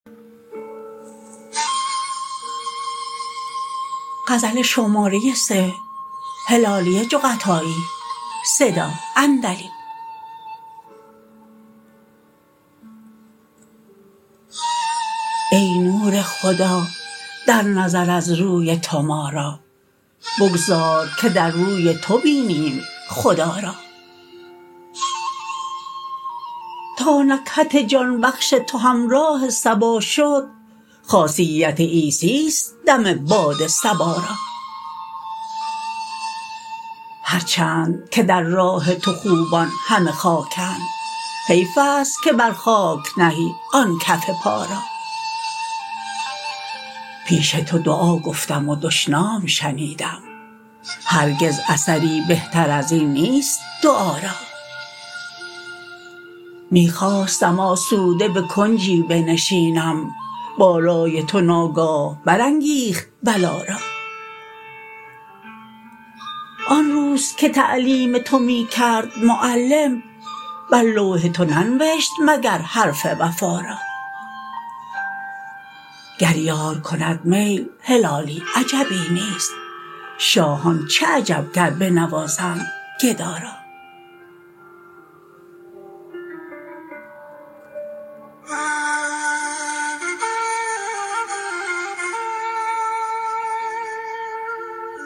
ای نور خدا در نظر از روی تو ما را بگذار که در روی تو بینیم خدا را تا نکهت جان بخش تو همراه صبا شد خاصیت عیسیست دم باد صبا را هر چند که در راه تو خوبان همه خاکند حیفست که بر خاک نهی آن کف پا را پیش تو دعا گفتم و دشنام شنیدم هرگز اثری بهتر ازین نیست دعا را می خواستم آسوده بکنجی بنشینم بالای تو ناگاه بر انگیخت بلا را آن روز که تعلیم تو می کرد معلم بر لوح تو ننوشت مگر حرف وفا را گر یار کند میل هلالی عجبی نیست شاهان چه عجب گر بنوازند گدا را